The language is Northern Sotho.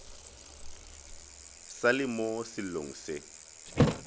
sa le mo sellong se